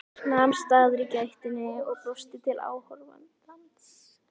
Nam staðar í gættinni og brosti til áhorfandans.